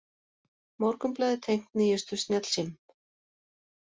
Morgunblaðið tengt nýjustu snjallsímum